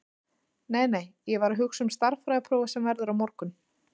Nei, nei, ég var að hugsa um stærðfræðiprófið sem verður á morgun.